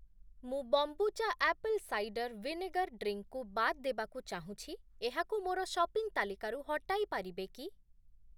ମୁଁ kombucha apple cider vinegar drink କୁ ବାଦ୍ ଦେବାକୁ ଚାହୁଁଛି, ଏହାକୁ ମୋର ସପିଂ ତାଲିକାରୁ ହଟାଇ ପାରିବେ କି?